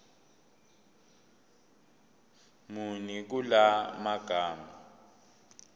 muni kula magama